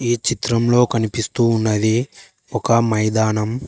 ఈ చిత్రంలో కనిపిస్తూ ఉన్నది ఒక మైదానం.